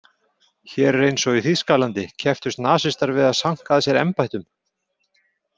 Hér eins og í Þýskalandi kepptust nasistar við að sanka að sér embættum.